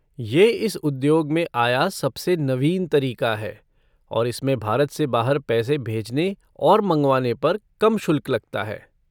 ये इस उद्योग में आया सबसे नवीन तरीक़ा है और इसमें भारत से बाहर पैसे भेजने और मँगवाने पर कम शुल्क लगता है।